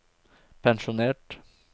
pensjonert